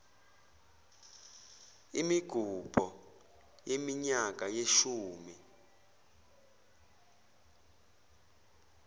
imigubho yeminyaka yeshumi